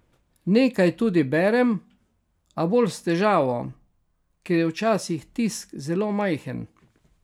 Nekaj tudi berem, a bolj s težavo, ker je včasih tisk zelo majhen.